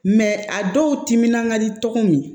Mɛ a dɔw timinan ka di tɔgɔw ye